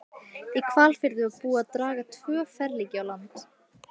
Í Hvalfirði var búið að draga tvö ferlíki á land.